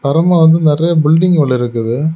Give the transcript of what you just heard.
அப்ரோமா வந்து நெறியா பில்டிங் வேற இருக்குது.